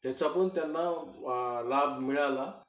त्याचापण त्यांना लाभ मिळाला